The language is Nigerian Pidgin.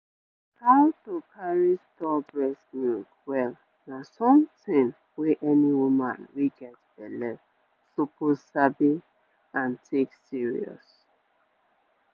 how to carry store breast milk well na something wey any woman wey get belle suppose sabi and take serious.